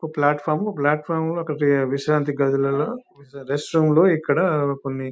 ఒక platform platform ఒక విశ్రాంతి గదులలో రెస్ట్ రూమ్ ఇక్కడ కొన్ని --